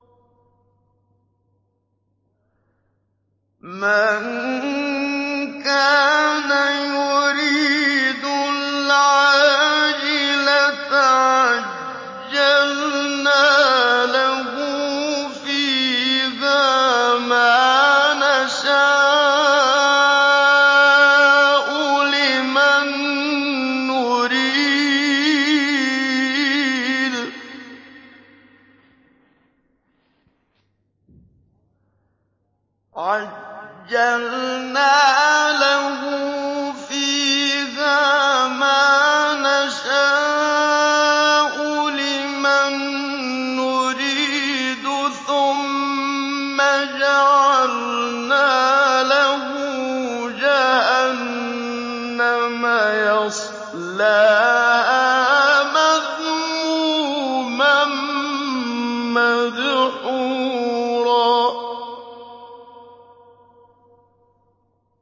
مَّن كَانَ يُرِيدُ الْعَاجِلَةَ عَجَّلْنَا لَهُ فِيهَا مَا نَشَاءُ لِمَن نُّرِيدُ ثُمَّ جَعَلْنَا لَهُ جَهَنَّمَ يَصْلَاهَا مَذْمُومًا مَّدْحُورًا